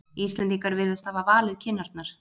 Íslendingar virðast hafa valið kinnarnar.